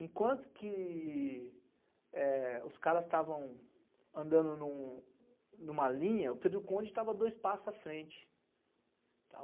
Enquanto que, eh, os caras estavam andando em uma linha, o Pedro Conde estava dois passos à frente